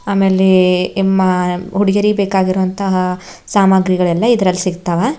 ಆಮೇಲೆ ಏಮ ಹುಡಗೀರಿಗ ಬೇಕಾಗುವಂತಹ ಸಾಮಗ್ರಿಗಳೆಲ್ಲ ಇದರಲ್ಲಿ ಸಿಗತಾವ.